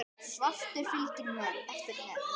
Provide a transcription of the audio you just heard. Svartur fylgir eftir með.